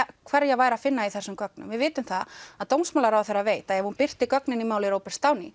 hverja væri að finna í þessum gögnum við vitum það að dómsmálaráðherra veit að ef hún birtir gögnin í máli Róberts